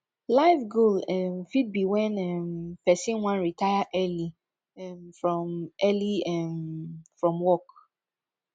life goal um fit be when um person wan retire early um from early um from work